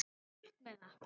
Burt með það.